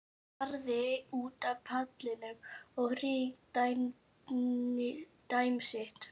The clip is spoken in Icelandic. Starði út á pallinn, á ríkidæmi sitt.